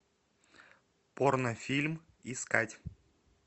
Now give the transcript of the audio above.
порно фильм искать